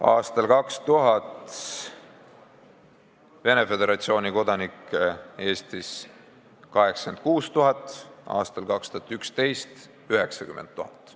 Aastal 2000 oli Eestis Venemaa Föderatsiooni kodanikke 86 000, aastal 2011 oli neid 90 000.